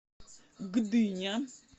гдыня